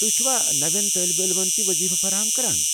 تُہۍ چھِوا نوین طٲلبہ علمن تہِ وضیفہٕ فراہم کران؟